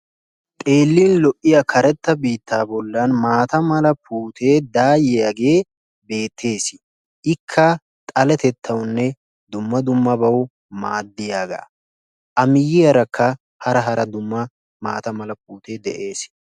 Xeellin lo'iya karettaa biittaa bollan maataa mala puutee daayiyaagee beettees. Ikka xaletettawunne dumma dummabawu maaddiyaaga. A miyaarakka hara hara dumma maataa mala puutee de'ees.